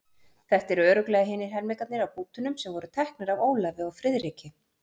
Þetta eru örugglega hinir helmingarnir af bútunum sem voru teknir af Ólafi og Friðriki.